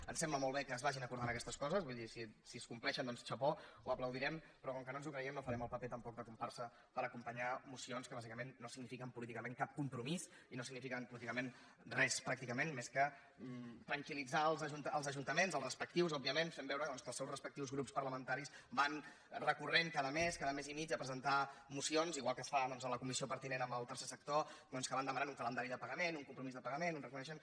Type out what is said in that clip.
ens sembla molt bé que es vagin acordant aquestes coses vull dir si es complei·xen doncs chapeauno ens ho creiem no farem el paper tampoc de com·parsa per acompanyar mocions que bàsicament no sig·nifiquen políticament cap compromís i no signifiquen políticament res pràcticament més que tranquilels ajuntaments els respectius òbviament fent veu·re doncs que els seus respectius grups parlamentaris van recorrent cada mes cada mes i mig a presentar mocions igual que es fa a la comissió pertinent amb el tercer sector doncs que van demanant un calendari de pagament un compromís de pagament un reconei·xement